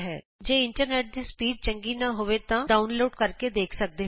ਜੇ ਤੁਹਾਡੇ ਇੰਟਰਨੈਟ ਦੀ ਸਪੀਡ ਚੰਗੀ ਨਹੀਂ ਹੈ ਤਾਂ ਤੁਸੀਂ ਇਸ ਨੂੰ ਡਾਊਨਲੋਡ ਕਰਕੇ ਦੇਖ ਸਕਦੇ ਹੋ